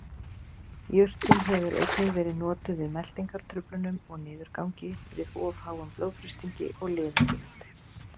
Jurtin hefur einnig verið notuð við meltingartruflunum og niðurgangi, við of háum blóðþrýstingi og liðagigt.